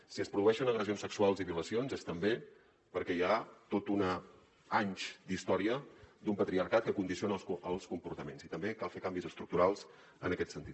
si es produeixen agressions sexuals i violacions és també perquè hi ha anys d’història d’un patriarcat que condiciona els comportaments i també cal fer canvis estructurals en aquest sentit